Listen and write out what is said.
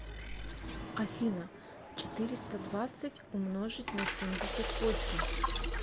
афина четыреста двадцать умножить на семьдесят восемь